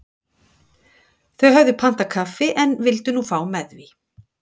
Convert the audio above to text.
þau höfðu pantað kaffi en vildu nú fá með því